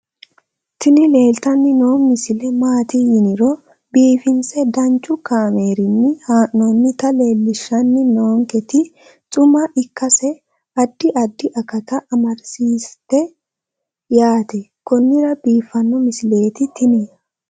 tini leeltanni noo misile maaati yiniro biifinse danchu kaamerinni haa'noonnita leellishshanni nonketi xuma ikkase addi addi akata amadaseeti yaate konnira biiffanno misileeti tini